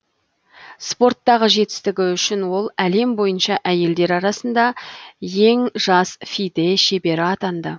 спорттағы жетістігі үшін ол әлем бойынша әйелдер арасында ең жас фиде шебері атанды